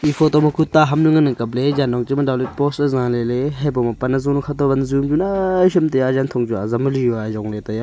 photo ma kue ta ham nu ngan ang kap ley jan hong chu ma dao lot post ae za ley ley habo ma pan azo nu kha to van ju naii shem taiya yan thong chu azam ali yao ajong ley taiya.